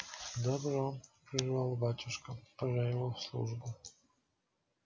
добро прервал батюшка пора его в службу